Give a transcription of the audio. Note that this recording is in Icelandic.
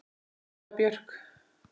Hulda Björk.